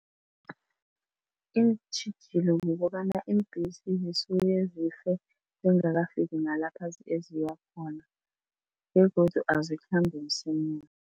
Iintjhijilo kukobana iimbhesi zisuke zife zingakafiki nalapha eziya khona begodu azikhambi msinya.